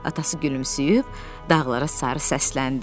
Atası gülümsüyüb dağlara sarı səsləndi.